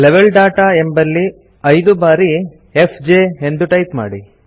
level data ಎಂಬಲ್ಲಿ ಐದು ಬಾರಿ ಎಫ್ಜೆ ಎಂದು ಟೈಪ್ ಮಾಡಿ